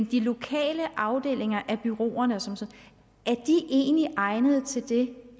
de lokale afdelinger af bureauerne egentlig egnede til det